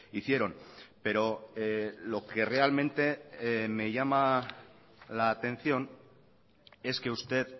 hicieron pero lo que realmente me llama la atención es que usted